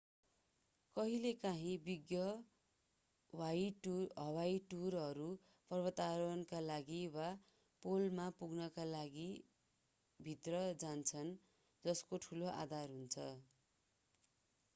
कहिलेकाहीँ विशेषज्ञ हवाई टुरहरू पर्वतारोहणका लागि वा पोलमा पुग्नका लागिभित्र जान्छन् जसको ठूलो आधार हुन्छ